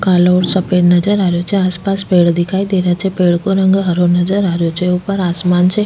काला और सफ़ेद नजर आ रो छे आसपास पेड़ दिखाई दे रा छे पेड़ को रंग हरो नजर आरो छे ऊपर आसमान छे।